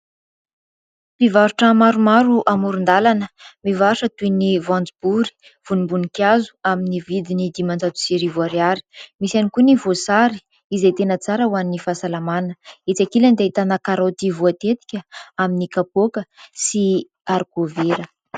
Mpivarotra maromaro amoron-dalana mivarotra toy ny voanjobory, vonim-boninkazo amin'ny vidiny dimanjato sy arivo Ariary ; misy ihany koa ny voasary izay tena tsara ho an'ny fahasalamana etsy ankilany dia ahitana karoty voatetika amin'ny kapoaka sy arikovera.